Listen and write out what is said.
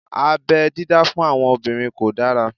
Abẹ́ dídá fún àwọn obìnrin kò dára